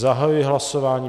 Zahajuji hlasování.